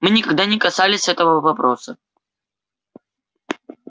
мы никогда не касались этого вопроса